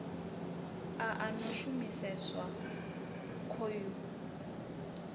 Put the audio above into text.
a a no shumiseswa khoyu